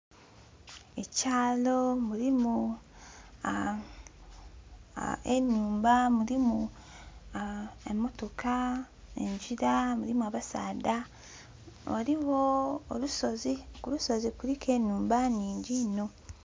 Ekyalo mulimu enumba mulimu emotoka, engira mulimu abasaadha ghaligho olusozi, ku lusozi kuliku enumba nhingi inho.